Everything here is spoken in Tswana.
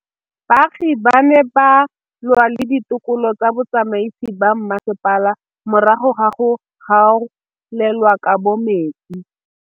Baagi ba ne ba lwa le ditokolo tsa botsamaisi ba mmasepala morago ga go gaolelwa kabo metsi